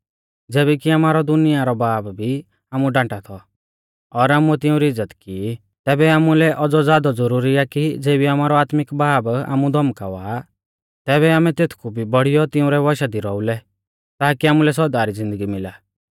ज़ैबै कि आमारौ दुनिया रौ बाब भी आमु डांटा थौ और आमुऐ तिउंरी इज़्ज़त की तैबै आमुलै औज़ौ ज़ादौ ज़ुरुरी आ कि ज़ेबी आमारौ आत्मिक बाब आमु धौमकावा आ तैबै आमै तेथकु भी बौड़ियौ तिउंरै वशा दी रौउलै ताकी आमुलै सौदा री ज़िन्दगी मिला